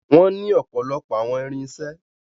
Wọ́n ní ọ̀pọ̀lọpọ̀ àwọn irinṣẹ́.